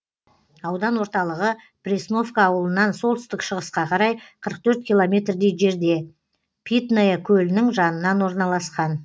аудан орталығы пресновка ауылынан солтүстік шығысқа қарай қырық төрт километрдей жерде питное көлінің жанынан орналасқан